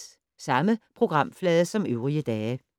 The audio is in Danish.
Samme programflade som øvrige dage